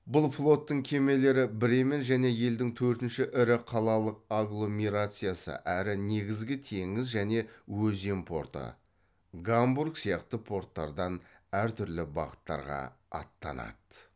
бұл флоттың кемелері бремен және елдің төртінші ірі қалалық агломерациясы әрі негізгі теңіз және өзен порты гамбург сияқты порттардан әр түрлі бағыттарға аттанады